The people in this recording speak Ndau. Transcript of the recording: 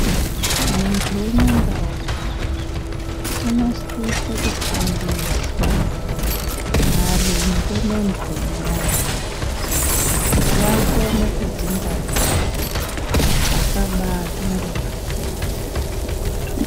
Muntu umwengaumwe unosiswe kufundiswa maringe nemhono yake, kuti akone kudzingwarira kuti asabatwe ngematenda.